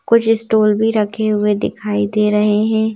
कुछ स्टूल भी रखे हुए दिखाई दे रहे हैं।